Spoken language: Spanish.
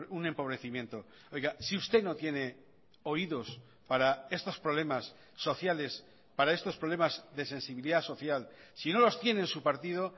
un empobrecimiento oiga si usted no tiene oídos para estos problemas sociales para estos problemas de sensibilidad social si no los tiene en su partido